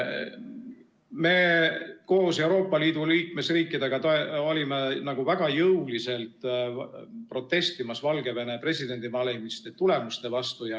Meie koos Euroopa Liidu liikmesriikidega olime väga jõuliselt protestimas Valgevene presidendivalimiste tulemuste vastu.